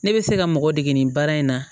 Ne bɛ se ka mɔgɔ dege nin baara in na